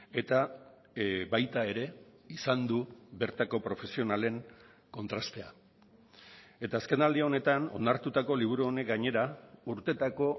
eta baita ere izan du bertako profesionalen kontrastea eta azken aldi honetan onartutako liburu honek gainera urtetako